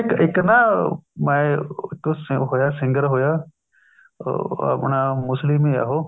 ਇੱਕ ਇੱਕ ਨਾ ਮੈਂ ਇੱਕ ਉਹ ਹੋਇਆ singer ਹੋਇਆ ਅਹ ਉਹ ਆਪਣਾ ਮੁਸਲਿਮ ਹੈ ਉਹ